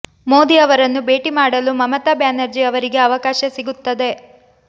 ಮೋದಿ ಅವರನ್ನು ಭೇಟಿ ಮಾಡಲು ಮಮತಾ ಬ್ಯಾನರ್ಜಿ ಅವರಿಗೆ ಅವಕಾಶ ಸಿಗುತ್ತದೆ